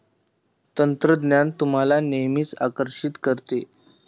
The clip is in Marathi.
तंत्रज्ञान तुम्हाला नेहमीच आकर्षीत करते.